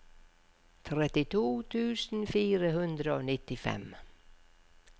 trettito tusen fire hundre og nittifem